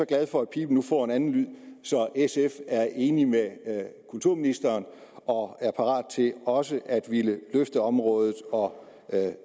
glad for at piben nu får en anden lyd så sf er enig med kulturministeren og er parat til også at ville løfte området og